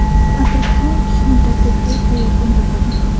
Attraksion uchish muddati tezda yakun topadi.